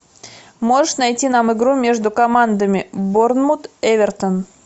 можешь найти нам игру между командами борнмут эвертон